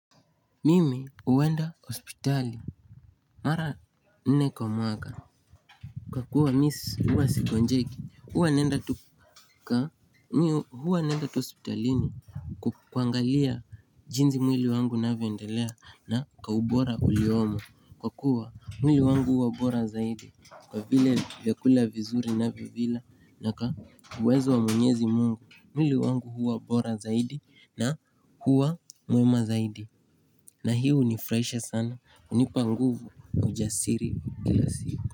Mimi huwenda hospitali mara nne kwa mwaka kwa kuwa mimi huwa sikonjeki huwa naenda tu huwa naenda tu hospitalini kuangalia jinsi mwili wangu unavyoendelea na kwa ubora uliomo. Kwa kuwa mwili wangu huwa bora zaidi kwa vile vyakula vizuri ninavyo vila na kwa uwezo wa mwenyezi Mungu. Mwili wangu huwa bora zaidi na huwa mwema zaidi. Na hii hunifurahisha sana hunipa nguvu ujasiri kila siku.